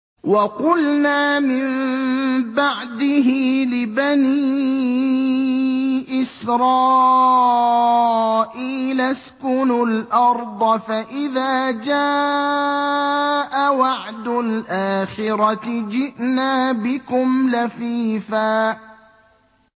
وَقُلْنَا مِن بَعْدِهِ لِبَنِي إِسْرَائِيلَ اسْكُنُوا الْأَرْضَ فَإِذَا جَاءَ وَعْدُ الْآخِرَةِ جِئْنَا بِكُمْ لَفِيفًا